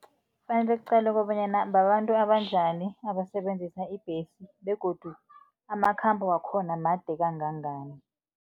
Kufanele kuqalwe kobanyana babantu abantu njani abasebenzisa ibhesi begodu amakhambo wakhona made kangangani.